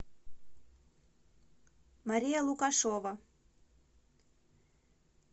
мария лукашова